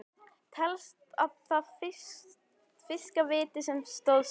Telst það að fiska víti sem stoðsending?